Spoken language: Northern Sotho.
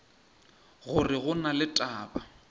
gore go na le taba